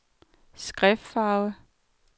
skriftfarve